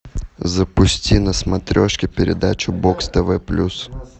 запусти на смотрешке передачу бокс тв плюс